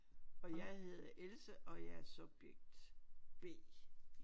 Og jeg hedder Else og jeg er subject B